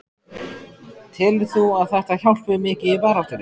Telur þú að þetta hjálpi mikið í baráttunni?